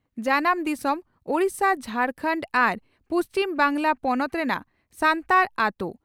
ᱡᱟᱱᱟᱢ ᱫᱤᱥᱚᱢ ᱺ ᱾ᱳᱰᱤᱥᱟ, ᱡᱷᱟᱨᱠᱟᱱᱰ ᱟᱨ ᱯᱩᱪᱷᱤᱢ ᱵᱟᱝᱜᱽᱞᱟ ᱯᱚᱱᱚᱛ ᱨᱮᱱᱟᱜ ᱥᱟᱱᱛᱟᱲ ᱟᱹᱛᱳ ᱾